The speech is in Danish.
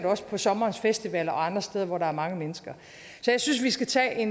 også på sommerens festivaler og andre steder hvor der er mange mennesker så jeg synes vi skal tage